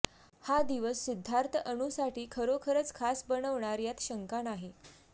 हा दिवस सिध्दार्थ अनुसाठी खरोखरच खास बनवणार यात शंका नाही